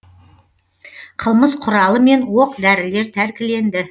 қылмыс құралы мен оқ дәрілер тәркіленді